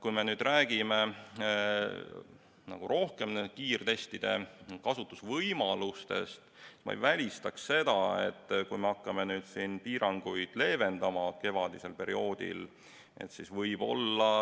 Kui me nüüd räägime nende kiirtestide kasutamise võimalustest, siis ma ei välista seda, et kui me hakkame nüüd kevadisel perioodil piiranguid leevendama, siis võib-olla